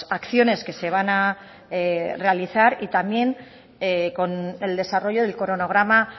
acciones que se van a realizar y también con el desarrollo del cronograma